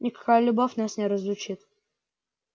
никакая любовь нас не разлучит